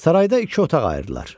Sarayda iki otaq ayırdılar.